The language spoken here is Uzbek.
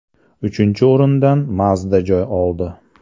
Uchinchi o‘rindan Mazda joy oldi.